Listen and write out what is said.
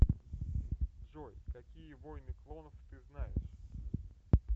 джой какие войны клонов ты знаешь